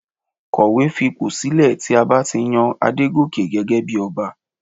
Kọ̀wé fi ipò sílẹ̀ tí a bá ti yan Adegoke gẹ́gẹ́ bí Ọba